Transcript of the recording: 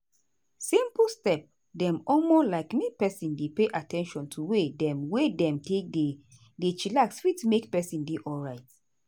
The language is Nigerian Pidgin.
simple step dem omo like make peson dey pay at ten tion to way dem wey dem take dey dey chillax fit make peson dey alrite.